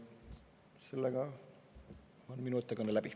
Sellega on minu ettekanne läbi.